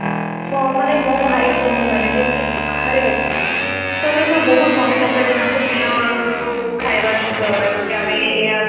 ହଁ ମାନେ ମୋ ଭାଇ ଭଉଣୀ ମାନେ ଯଉ ମାନେ ସବୁ ବାହାରେ ଅଛନ୍ତି ସେମାନେ ସବୁ ବହୁତ ମନେ ପକାନ୍ତି ତାଙ୍କ ପିଲା ବେଳର ସବୁ ଖାଇବା ଜିନିଷ ଗୁଡାକ କି ଆମେ ଏଇଆ